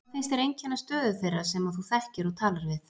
Hvað finnst þér einkenna stöðu þeirra sem að þú þekkir og talar við?